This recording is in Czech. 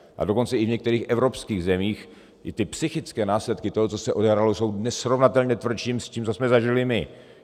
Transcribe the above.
A dokonce i v některých evropských zemích i ty psychické následky toho, co se odehrálo, jsou nesrovnatelně tvrdší s tím, co jsme zažili my.